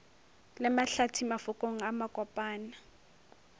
le mahlathi mafokong a makopana